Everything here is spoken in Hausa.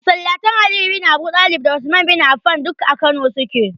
Masalatan Aliyu bin Abuɗalib da Usman bin Afan duk a Kano su ke.